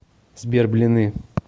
сбер блины